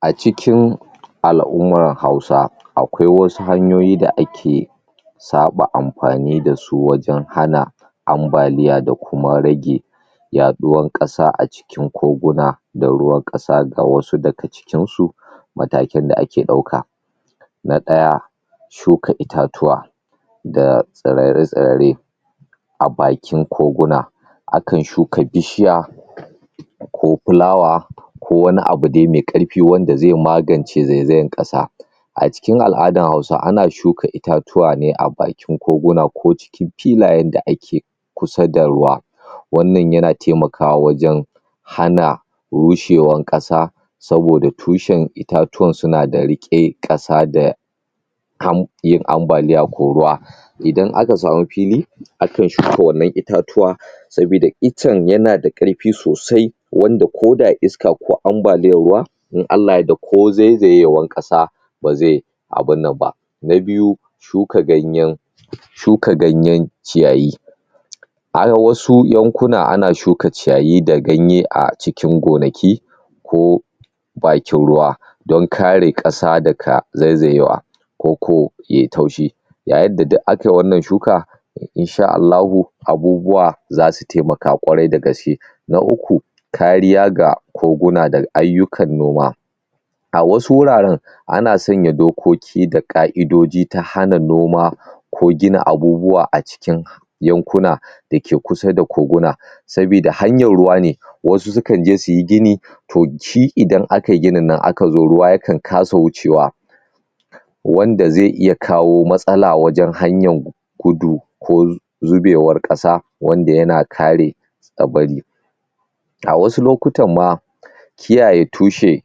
Acikin al'ummar Hausa akwai wasu hanyoyi da ake saɓa amfani dasu wajan hana ambaliya da kuma rage yaɗuwan ƙasa acikin koguna da ruwan ƙasa ga wasu daga cikin su matakin da ake ɗauka na ɗaya shuka itatuwa da tsarare-tsarare a bakin koguna akan shuka bishiya ko fulawa ko wani abu de me karfi wanda ze magance zezayar ƙasa acikin al'adan hausa ana shuka itatuwa ne a bakin koguna ko cikin tulayen da ake kusa da ruwa wannan yana taimakawa wajan hana rushewar ƙasa saboda tushen itatuwan suna da riƙe ƙasa da kam din ambaliya ko ruwa idan aka samu fili aka shuka wannan itatuwa sabida itcen yanada karfi sosai wanda koda iska ko ambaliyan ruwa idan Allah ya yarda ko zaizayewan ƙasa ba ze abunnan ba na biyu shuka ganyen shuka ganyan ciyayi ai wasu yankuna ana shuka ciyayi da ganyen a cikin gonaki koh bakin ruwa dan kare ƙasa daga zaizayawa koko yayi taushi ga yanda duk akayi wanan shuka insha'Allahu abubuwa zasu taimaka ƙwarai da gaske na uku kariya ga koguna daga ayyukan noma a wasu wuraren ana sanya dokoki da ka'idoji ta hana noma ko gina abubuwa a cikin yankuna dake kusa da koguna sabida hanyar ruwane wasu sukanje suyi gini toh shi idan akayi gininnan akan zo ruwa yakan kasa wucewa wanda ze iya kawo matsala wajan hanyan gudu koh zubewar ƙasa wanda yana kare tsabari ga wasu lokutan ma kiyaye tushe